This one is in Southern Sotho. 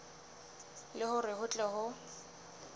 le hore ho tle ho